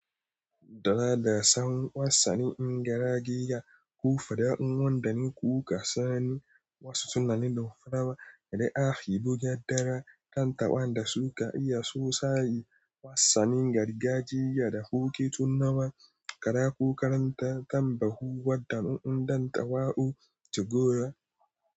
Dara da tsawon wasannin gargajiya, kofa da ɗanɗanon kuka sani wasu tunanin ɗumfarawa, da ajiye buga dara, dandamwa da suka iya sosai wasannin gargajiya da kuke tunawa, kara kukaranta tambahuwar ɗanɗanon dandamwa a Jigawa.